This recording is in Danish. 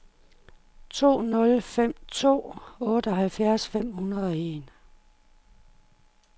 to nul fem to otteoghalvfjerds fem hundrede og en